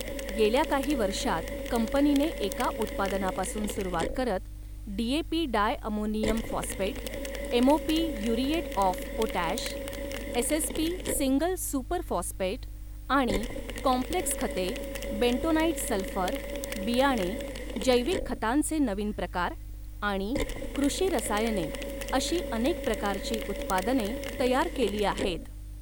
गेल्या काही वर्षांत कंपनीने एका उत्पादनापासून सुरुवात करत DAP di ammonium phosphate, MOP muriate of potash, SSP single super phosphate, आणि काँम्प्लेक्स खते, बेंटोनाईट सल्फर, बियाणे, जैविक खतांचे नवीन प्रकार आणि कृषी रसायने अशी अनेक प्रकारची उत्पादने तयार केली आहेत.